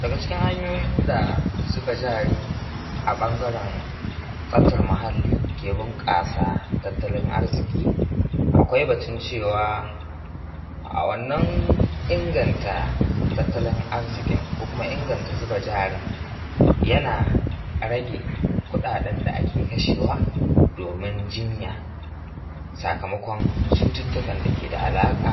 Daga cikin hanyoyin da zuba jari a ɓangaren tsaftar muhalli ke bunƙasa tatalin arziki, akwai batun cewa a wannan inganta tattalin arzikin ko kuma inganta zuba jarin yana rage kuɗaɗen da ake kashewa domin jinya sakamakon cututtukan da yake da ka alaƙa